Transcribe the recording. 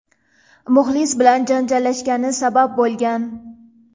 muxlis bilan janjallashgani sabab bo‘lgan.